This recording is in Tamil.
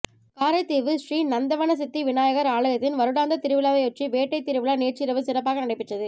காரைதீவு ஸ்ரீ நந்தவனசித்தி விநாயகர் ஆலயத்தின் வருடாந்த திருவிழாவையொட்டி வேட்டைத் திருவிழா நேற்றிரவு சிறப்பாக நடைபெற்றது